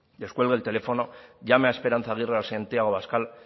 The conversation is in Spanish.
descuelgue el teléfono llame a esperanza aguirre a santiago abascal